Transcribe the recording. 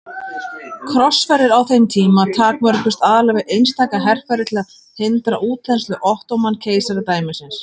Krossferðir á þeim tíma takmörkuðust aðallega við einstaka herferðir til að hindra útþenslu Ottóman-keisaradæmisins.